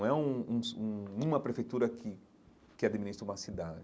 Não é um um um uma prefeitura que que administra uma cidade.